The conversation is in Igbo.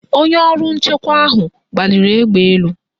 Onye ọrụ nchewa ahụ gbaliri egbe n' elu.